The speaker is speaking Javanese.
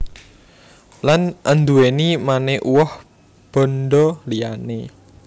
Lan anduwèni mane uwoh bandha liyane